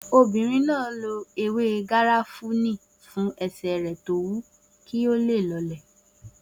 Obìnrin náà lo ewé garafuni fún ẹsẹ̀ rẹ̀ tó wu kí ó lè dínkù